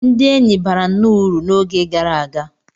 Ndị enyi bara nnọọ uru n'oge gara aga.